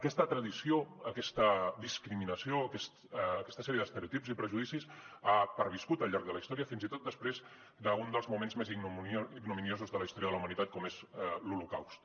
aquesta tradició aquesta discriminació aquesta sèrie d’estereotips i prejudicis han perviscut al llarg de la història fins i tot després d’un dels moments més ignominiosos de la història de la humanitat com és l’holocaust